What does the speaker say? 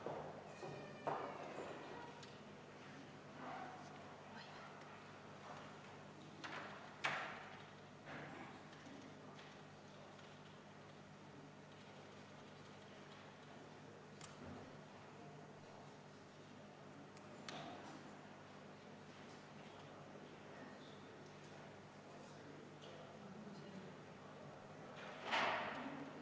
Mõnes punktis te vastasite isegi natuke üllatavalt, positiivselt, et me võiksime tulevikus nende küsimuste lahendamise nimel koos töötada.